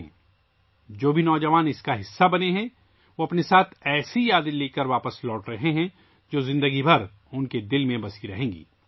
وہ تمام نوجوان ، جو اس کا حصہ رہے ہیں، ایسی یادیں لے کر لوٹ رہے ہیں، جو زندگی بھر ان کے دلوں میں رہیں گی